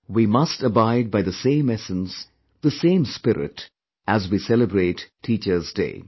We must abide by the same essence, the same spirit as we celebrate Teachers' Day